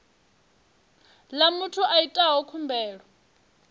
ḽa muthu a itaho khumbelo